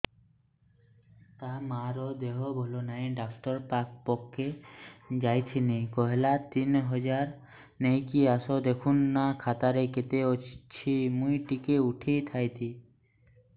ତାର ମାର ଦେହେ ଭଲ ନାଇଁ ଡାକ୍ତର ପଖକେ ଯାଈଥିନି କହିଲା ତିନ ହଜାର ନେଇକି ଆସ ଦେଖୁନ ନା ଖାତାରେ କେତେ ଅଛି ମୁଇଁ ଟିକେ ଉଠେଇ ଥାଇତି